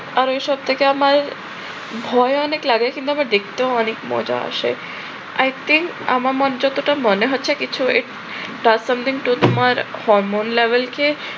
আর ঐ সব থেকে আমার ভয়ও অনেক লাগে, কিন্তু আমার দেখতেও অনেক মজা আসে। i think আমার যতটা মনে হচ্ছে কিছু একটা something তোমার হরমোন label কে